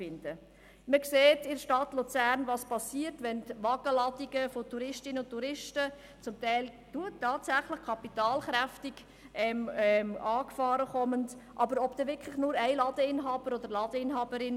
Auch stellt sich die Frage, ob eine Ladeninhaberin oder ein Ladeninhaber den Ansturm von Touristinnen und Touristen – und seien sie auch noch so kapitalkräftig – allein bewältigen kann, wenn wie in der Stadt Luzern ganze Wagenladungen von ihnen auf einmal ankommen.